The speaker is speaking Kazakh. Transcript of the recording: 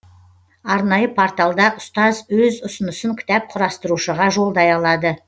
арнайы порталда ұстаз өз ұсынысын кітап құрастырушыға жолдай алады